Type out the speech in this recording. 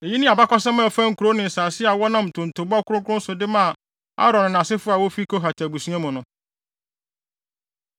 Eyi ne abakɔsɛm a ɛfa nkurow ne asase a wɔnam ntontobɔ kronkron so de maa Aaron ne nʼasefo a wofi Kohat abusua mu no.